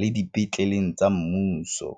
le dipetleleng tsa mmuso.